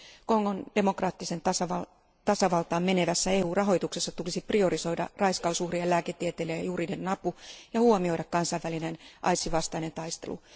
Kongon demokraattiseen tasavaltaan menevässä EU rahoituksessa tulisi priorisoida raiskausuhrien lääketieteellinen ja juridinen apu ja huomioida kansainvälinen aidsin vastainen taistelu.